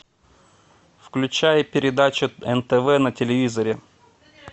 включай передача нтв на телевизоре